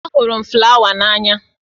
Ahụrụ m flawa n'anya